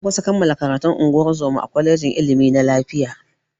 Na kusa kammala karatun ungozoma a kwalejin ilimi na lafiya.